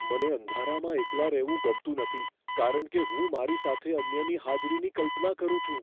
મને અંધારામાં એકલા રહેવું ગમતું નથી કારણ કે હું મારી સાથે અન્યની હાજરીની કલ્પના કરું છું.